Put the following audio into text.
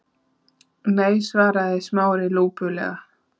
Nei- svaraði Smári lúpulega.